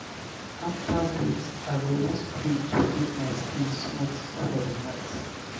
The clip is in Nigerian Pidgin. after bath i go use cream to keep my skin smooth for the night.